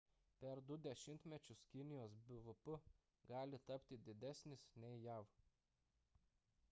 per 2 dešimtmečius kinijos bvp gali tapti didesnis nei jav